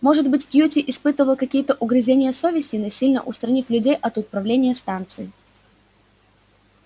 может быть кьюти испытывал какие-то угрызения совести насильно устранив людей от управления станцией